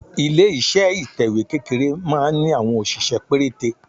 Ilé iṣẹ́ ìtẹ̀wẹ́ kékeré máa ń ní àwọn òṣìṣẹ́ pérété.